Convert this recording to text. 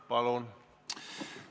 Palun!